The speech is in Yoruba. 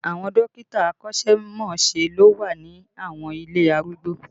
Àwọn dókítà akọ́sẹ́mọsẹ́ ló wà ní àwọn ilé arúgbó